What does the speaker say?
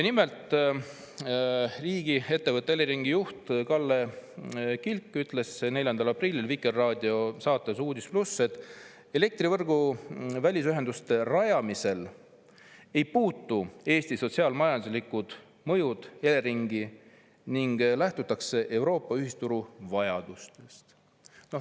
Nimelt, riigiettevõtte Elering juht Kalle Kilk ütles 4. aprillil Vikerraadio saates "Uudis+", et elektrivõrgu välisühenduste rajamisel ei puutu Eesti sotsiaal-majanduslikud mõjud Eleringi, ning lähtutakse Euroopa ühisturu vajadustest.